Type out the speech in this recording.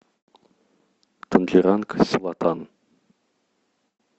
тангеранг селатан